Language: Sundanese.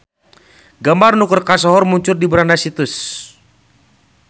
Gambar nu keur kasohor muncul di beranda situs.